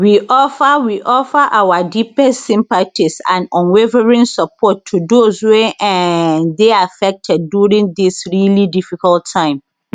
we offer we offer our deepest sympathies and unwavering support to those wey um dey affected during dis really difficult time